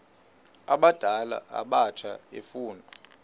abadala abatsha efuna